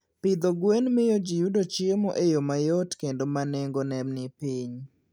Pidho gwen miyo ji yudo chiemo e yo mayot kendo ma nengone ni piny.